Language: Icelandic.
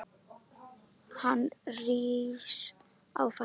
Hann rís á fætur.